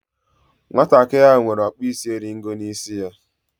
Nwatakịrị ahụ nwere ọkpụisieringo n'isi ya.